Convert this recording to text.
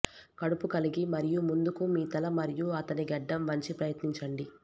కడుపు కలిగి మరియు ముందుకు మీ తల మరియు అతని గడ్డం వంచి ప్రయత్నించండి